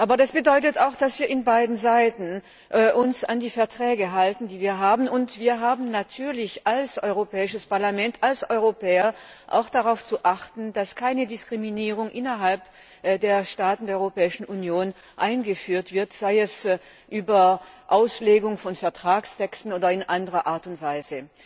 Aber das bedeutet auch, dass wir uns auf beiden Seiten an die bestehenden Verträge halten, und wir haben natürlich als Europäisches Parlament, als Europäer auch darauf zu achten, dass keine Diskriminierung innerhalb der Staaten der Europäischen Union eingeführt wird, sei es über Auslegung von Vertragstexten oder in anderer Art und Weise.